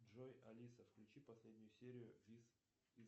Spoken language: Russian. джой алиса включи последнюю серию вис из